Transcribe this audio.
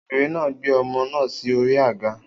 Obìnrin náà gbé ọmọ náà sí orí àga